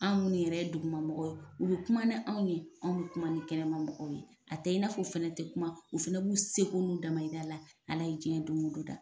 Anw minnu yɛrɛ ye dugumamɔgɔ ye u bɛ kuma ni anw ye, anw bɛ kuma ni kɛnɛma mɔgɔw ye, a tɛ i na fɔ fana tɛ kuma , u fana b'u seko n'u dama yira la ala y' diɲɛ don o don da.